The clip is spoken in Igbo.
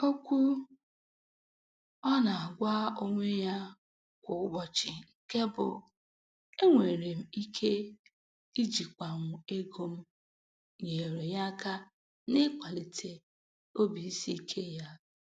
Okwu ọ na-agwa onwe ya kwa ụbọchị nke bụ "Enwere m ike ijikwanwu ego m" nyeere ya aka n'ịkwalite obisiike ya.